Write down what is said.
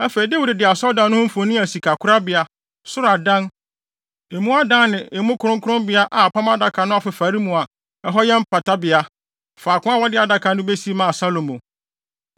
Afei Dawid de asɔredan no ho mfoni a sikakorabea, soro adan, emu adan ne emu kronkronbea a Apam Adaka no afefare mu a ɛhɔ yɛ mpatabea, faako a wɔde Adaka no besi maa Salomo.